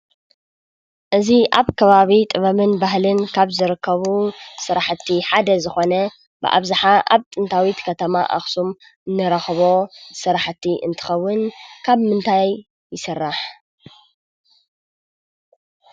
እዚ ኣብ ከባቢ ጥበብን ባህልን ካብ ዝርከቡ ስርሕቲ ሓደ ዝኾነ ብኣብዝሓ ኣብ ጥንታዊት ከተማ ኣኽሱም ንረኽቦ ስራሕቲ እንትኸውን ካብ ምንታይ ይስራሕ ?